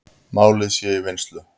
Málið sé í vinnslu.